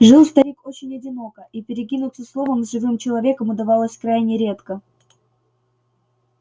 жил старик очень одиноко и перекинуться словом с живым человеком удавалось крайне редко